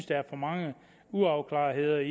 der er for mange uafklarede